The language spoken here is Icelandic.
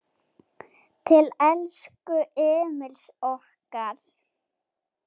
Til elsku Emils okkar.